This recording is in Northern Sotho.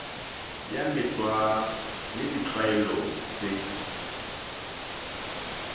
ye mefsa le ditlwaelo se